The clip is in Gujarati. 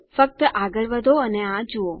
ફક્ત આગળ વધો અને આ જુઓ